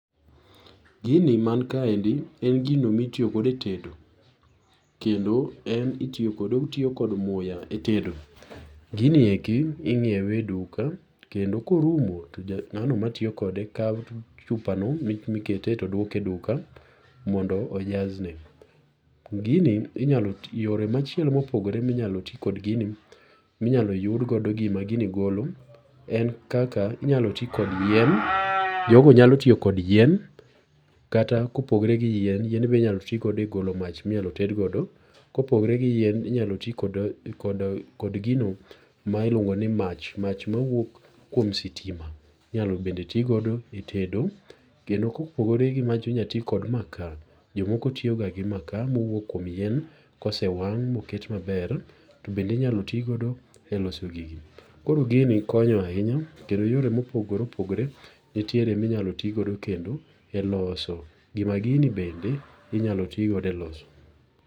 Gini man kaendi en gino mitiyo godo e tedo kendo en otiyo koda muya e tedo. Gini endi inyiewe e duka kendo korumo to ng'ano matiyo kode kawo chupano mikete to duoke e duka mondo ojasne. Gini inyalo tiyogo ,yore machielo mopogore minyalo ti kod gini, inyalo yud kodo gima gini golo en kaka inyalo ti kod yien. Jogo nyalo tiyo kod yien kata kopogore gi yien. Yien be inyalo ti godo e golo mach minyalo ted godo. Kopogore gi yien, inyalo ti kod gino ma iluongo ni mach. Mach mawuok kuom sitima bende inyalo ti godo. Kopogore gi mach inyalo ti kod makaa. Jok moko tiyoga gi makaa. Yien kosewang' iketoga maber. To bende inyalo tigodo e loso gini. Koro gini konyo ahinya kendo yore mopogore opogore nitiere minyalo tigodo kendo e loso gima gini bende inyalo ti godo e loso.